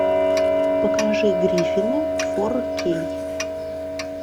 покажи гриффины фор кей